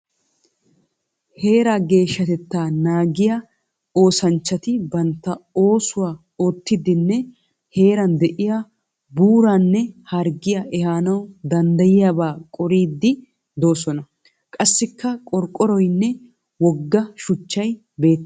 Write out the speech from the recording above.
Heeraa geeshshatettaa naagiya oosanchchati bantta oosuwa oottiiddinne heeran de'iya buuraanne harggiya ehanawu danddayiyabaa qoriiddi doosona. Qassikka qorqqoroyinne wogga shuchchay beettes.